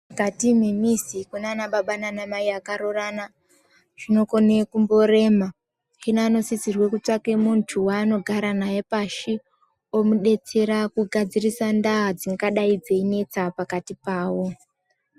Mukati mwemwizi kunaanababa naanamai akaroorana, zvinokona kumborema. Hino anosisirwe kutsvake muntu waanogara naye pashi, omudetsera kugadzirisa ndaa dzingadai dzeinetsa pakati pavo.